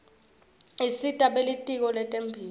isita belitiko letemphilo